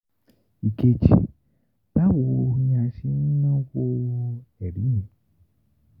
ìkejì báwo ni a ṣe ń náwó ẹ̀rí yẹn?